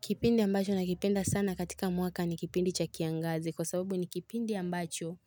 Kipindi ambacho nakipenda sana katika mwaka ni kipindi cha kiangazi kwa sababu ni kipindi ambacho